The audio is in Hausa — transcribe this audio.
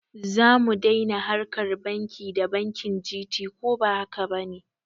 Zamu dai na harkar banki da bankin Gt koba hakaba ne?